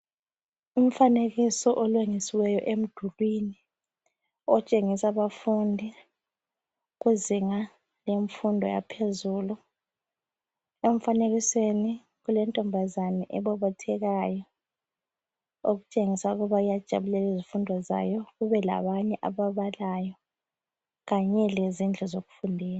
Umfanekiso olengisiweyo emdulwini otshengisa abafundi kuzinga lemfundo yaphezulu. Emfanekisweni kulentombazana ebobothekayo okutshengisela ukuba iyazijabulela izifundo zayo, kube labanye ababalayo kanye lezindlu zokufundela.